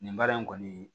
Nin baara in kɔni